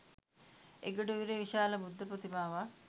එගොඩ ඉවුරේ විශාල බුද්ධ ප්‍රතිමාවක්